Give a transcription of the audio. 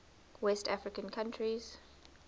west african countries